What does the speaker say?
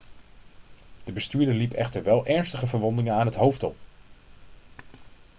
de bestuurder liep echter wel ernstige verwondingen aan het hoofd op